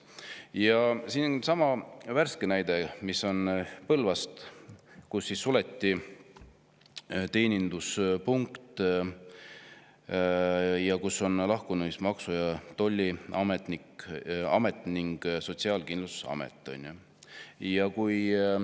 Ja siin on värske näide Põlvast, kust on lahkunud Maksu- ja Tolliamet ning suletud Sotsiaalkindlustusameti teeninduspunkt.